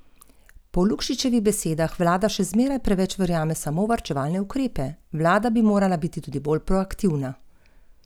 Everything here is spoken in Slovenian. To se mi ne zdi v redu.